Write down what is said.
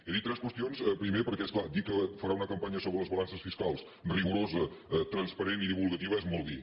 he dit tres qüestions primer perquè és clar dir que farà una campanya sobre les balances fiscals rigorosa transparent i divulgativa és molt dir